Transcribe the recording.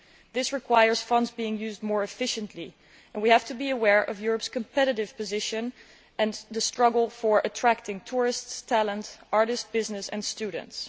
This requires funds to be used more efficiently, and we have to be aware of Europe's competitive position and the struggle to attract tourists, talent, artists, business and students.